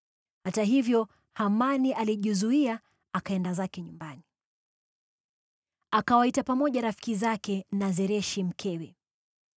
Hata hivyo, Hamani alijizuia akaenda zake nyumbani. Akawaita pamoja rafiki zake na Zereshi, mkewe.